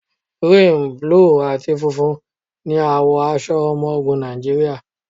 Gírìn, búlù àti funfun ní àwọ̀ aṣọ ọmọ ogun Nàìjíríà.